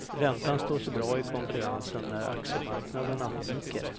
Räntan står sig bra i konkurrensen när aktiemarknaderna viker.